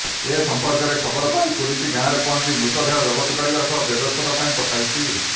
ଏ ସଂପର୍କରେ ଖବର ପାଇ ପୁଲିସ ଗାଁରେ ପହଞ୍ଚି ମୃତଦେହ ଜବତ କରିବା ସହ ବ୍ୟବଚ୍ଛେଦ ପାଇଁ ପଠାଇଛି